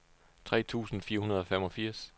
tre tusind fire hundrede og femogfirs